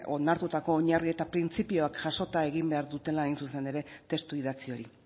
onartutako oinarri eta printzipioak jasota egin behar dutela hain zuzen ere testu idatzi hori